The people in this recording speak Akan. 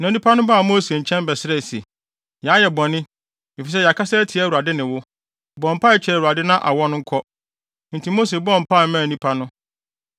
Na nnipa no baa Mose nkyɛn bɛsrɛɛ se, “Yɛayɛ bɔne, efisɛ yɛakasa atia Awurade ne wo. Bɔ mpae kyerɛ Awurade na awɔ no nkɔ.” Enti Mose bɔɔ mpae maa nnipa no.